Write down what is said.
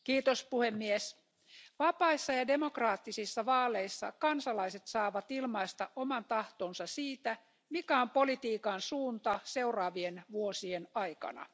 Arvoisa puhemies, vapaissa ja demokraattisissa vaaleissa kansalaiset saavat ilmaista oman tahtonsa siitä, mikä on politiikan suunta seuraavien vuosien aikana.